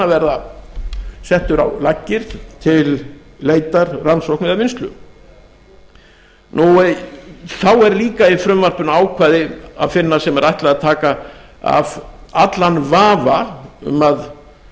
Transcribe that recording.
verða settur á laggir til leitar rannsókna eða vinnslu þá eru líka í frumvarpinu ákvæði að finna sem er ætlað að taka af allan vafa um að